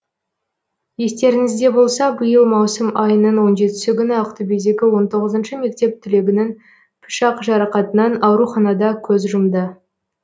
естеріңізде болса биыл маусым айының он жетісі күні ақтөбедегі он тоғызыншы мектеп түлегінің пышақ жарақатынан ауруханада көз жұмды